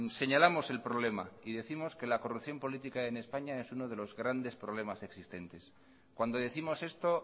señalamos el problema y décimos que la corrupción política en españa es uno de los grandes problemas existentes cuando décimos esto